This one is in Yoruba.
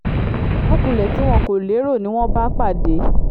ìjákulẹ̀ tí wọn kò lérò ni wọ́n bá pàdé